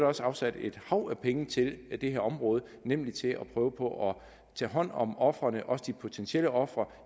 også afsat et hav af penge til det her område nemlig til at prøve på at tage hånd om ofrene også de potentielle ofre